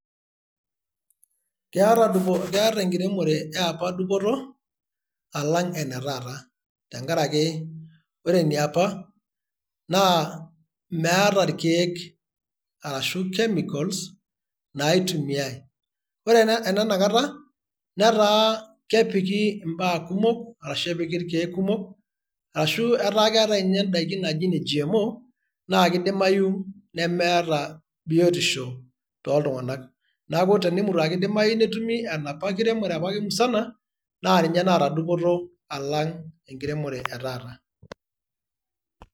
keeta enkitemore ye apa dupoto alang' ene taata.te nkaraki ore eniapa meeta irkeek arashu chemicals naitumiae. ore enena kata netaa kepiki ibaa kumok arashu epiki irkeek kumok. arashu etaa keetae ninye idaikin naaji ine GMO, naa kidimayu nemeeta biotisho tooltunganak. neeku tenemutu as kidimayu. netumi enapa kiremore ake musana naa ninye naata dupoto alang' ene taata.